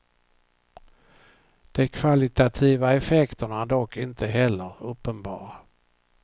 De kvalitativa effekterna är dock inte heller uppenbara.